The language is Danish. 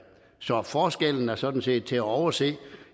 så forskellen er sådan set til at overse